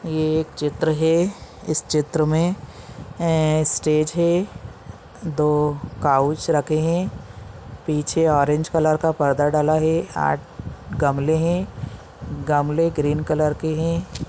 ये एक चित्र है इस चित्र मे स्टेज है दो काउच रखे है पीछे ऑरेंज कलर का पर्दा डला है आठ गमले है गमले ग्रीन कलर के है।